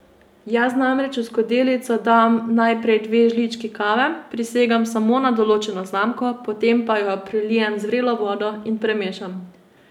Jaz namreč v skodelico dam najprej dve žlički kave, prisegam samo na določeno znamko, potem pa jo prelijem z vrelo vodo in premešam.